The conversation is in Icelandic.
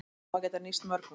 Á að geta nýst mörgum